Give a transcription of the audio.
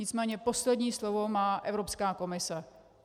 Nicméně poslední slovo má Evropská komise.